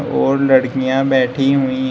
और लड़कियां बैठी हुई है।